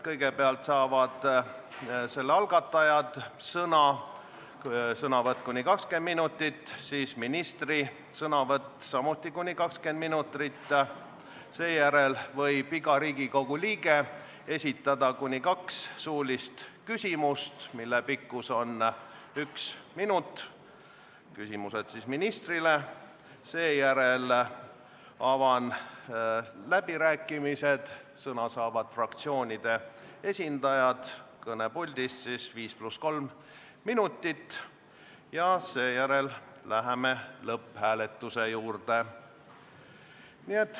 Kõigepealt saavad sõna umbusaldamise algatajad, sõnavõtt kestab kuni 20 minutit, siis on ministri sõnavõtt, samuti kuni 20 minutit, seejärel võib iga Riigikogu liige esitada ministrile kuni kaks suulist küsimust, mille pikkus on üks minut, seejärel avan läbirääkimised, sõna saavad fraktsioonide esindajad kõnepuldist ning seejärel läheme lõpphääletuse juurde.